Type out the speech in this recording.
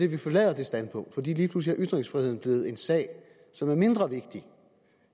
vi forlader det standpunkt for lige pludselig er ytringsfriheden blevet en sag som er mindre vigtig